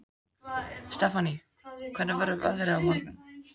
Stefánný, hvernig verður veðrið á morgun?